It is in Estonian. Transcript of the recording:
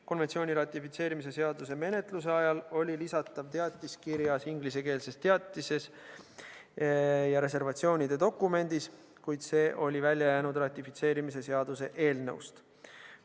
Konventsiooni ratifitseerimise seaduse menetluse ajal oli lisatav teatis kirjas ingliskeelses teatises ja reservatsioonide dokumendis, kuid see oli ratifitseerimise seaduse eelnõust välja jäänud.